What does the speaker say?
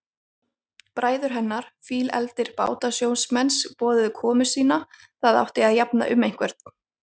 Bræður hennar, fílefldir bátasjómenn, boðuðu komu sína, það átti að jafna um einhvern.